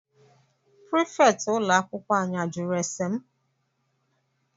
Prịfeti ụlọ akwụkwọ anyị ajụrụ ese m?